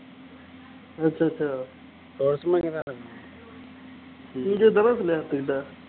okay okay